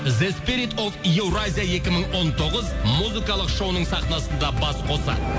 еуразия екі мың он тоғыз музыкалық шоуының сахнасында бас қосады